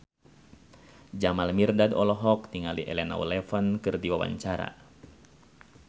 Jamal Mirdad olohok ningali Elena Levon keur diwawancara